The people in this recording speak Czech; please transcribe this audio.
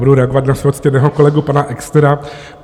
Budu reagovat na svého ctěného kolegu pana Exnera.